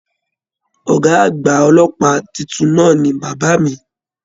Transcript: Ọgá àgbà ọlọ́pàá títún náà ní bàbá mí.